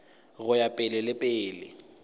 go ya pele le pele